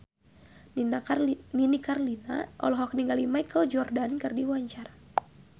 Nini Carlina olohok ningali Michael Jordan keur diwawancara